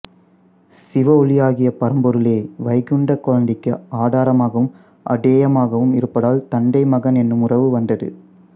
சிவ ஒளியாகிய பரம்பொருளே வைகுண்டக் குழந்தைக்கு ஆதாரமாகவும் ஆதேயமாகவும் இருப்பதால் தந்தை மகன் என்னும் உறவு வந்தது